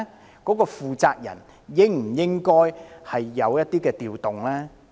有關的負責人是否應有所調動呢？